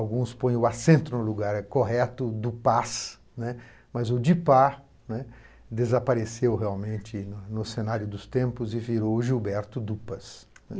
Alguns põem o acento no lugar, é correto, Dupas, né, mas o Dupas, né, desapareceu realmente no cenário dos tempos e virou Gilberto Dupas.